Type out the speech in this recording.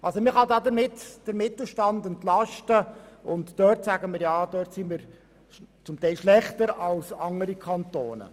Damit kann man den Mittelstand entlasten, und wir sagen: Ja, dort sind wir teilweise schlechter als andere Kantone.